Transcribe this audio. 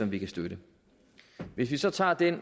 vi kan støtte hvis vi så tager den